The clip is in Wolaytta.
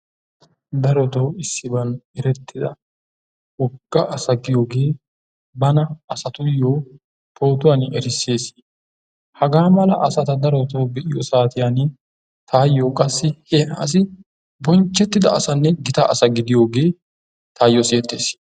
Darotoo issiban erettida wogga asa giyogee bana asatuyyoo pootuwan erissses. Hagaa mala asata darotoo be'iyo saatiyan taayyoo qassi he asi bonchchettida asanne gita asa gidiyogee taayyoo siyettes.